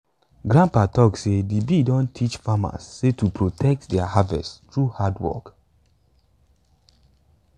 grandpa talk say de bee don teach farmers sey to dey protect their harvest through hardwork